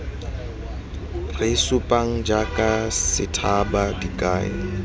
re supang jaaka sethaba dikai